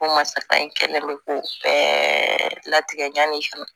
Ko masa in kɛlen bɛ k'o bɛɛ latigɛ ɲaani ka na